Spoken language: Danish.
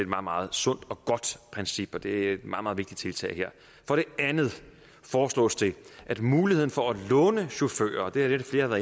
meget sundt og godt princip og det er et meget meget vigtigt tiltag for det andet foreslås det at muligheden for at låne chauffører det er det flere har